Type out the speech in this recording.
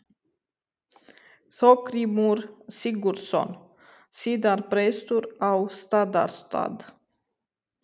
Þorgrímur Sigurðsson, síðar prestur á Staðarstað.